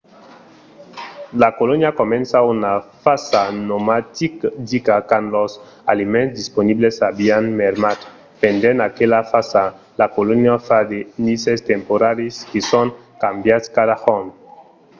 la colonia comença una fasa nomadica quand los aliments disponibles avián mermat. pendent aquela fasa la colonia fa de nises temporaris que son cambiats cada jorn